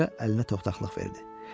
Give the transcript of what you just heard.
Qoca əlinə toxtaqlıq verdi.